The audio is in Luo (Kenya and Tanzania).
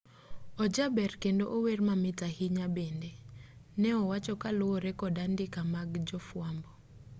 ojaber kendo ower mamit ahinya bende ne owacho kaluwore kod andika mag jofuambo